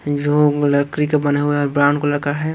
जो लकड़ी का बना हुआ है और ब्राउन कलर का है।